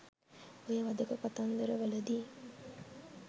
ඔය වධක කතන්දර වලදි